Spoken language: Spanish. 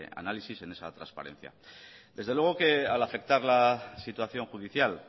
análisis en esa transparencia desde luego al afectar la situación judicial